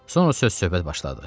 Sonra söz-söhbət başladı.